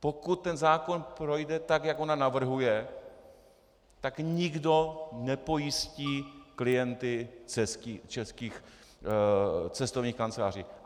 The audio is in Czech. Pokud ten zákon projde tak, jak ona navrhuje, tak nikdo nepojistí klienty českých cestovních kanceláří.